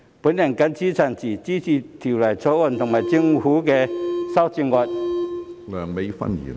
我謹此陳辭，支持《條例草案》和政府的修正案。